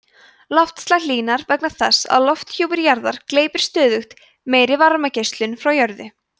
loftslag hlýnar vegna þess að lofthjúpur jarðar gleypir stöðugt meiri varmageislun frá jörðu